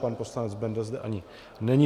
Pan poslanec Benda zde ani není.